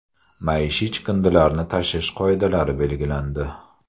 Maishiy chiqindilarni tashish qoidalari belgilandi.